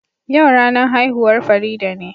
Yau ranan haihuwan Farida ne.